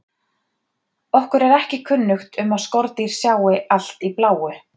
Okkur er ekki kunnugt um að skordýr sjái allt í bláu.